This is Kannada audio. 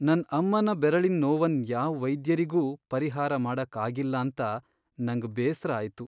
ನನ್ ಅಮ್ಮನ ಬೆರಳಿನ್ ನೊವನ್ ಯಾವ್ ವೈದ್ಯರಿಗು ಪರಿಹಾರ ಮಾಡಕ್ ಆಗಿಲ್ಲಾಂತ ನಂಗ್ ಬೇಸ್ರ ಆಯ್ತು.